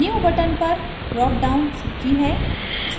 new button पर drop down सूची है